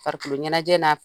Farikolo ɲɛnajɛ na